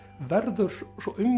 verður